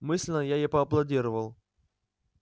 мысленно я ей поаплодировал